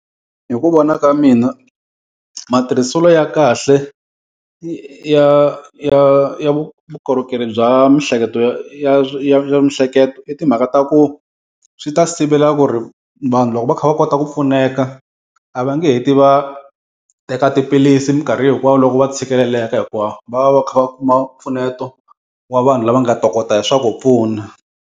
Hi ku vona ka mina matirhiselo ya kahle ya vukorhokeri bya miehleketo ya ya ya miehleketo i timhaka ta ku, swi ta sivela ku ri vanhu loko va kha va kota ku pfuneka a va nge heti va teka tiphilisi minkarhi hinkwawo loko va tshikeleleka hikuva va va va kha va kuma mpfuneto wa vanhu lava nga ta tokota hi swa ku pfuna.